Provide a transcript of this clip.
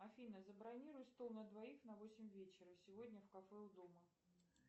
афина забронируй стол на двоих на восемь вечера сегодня в кафе у дома